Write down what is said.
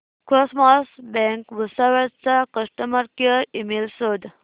cosmos bank Bhusawal चा customer care email शोध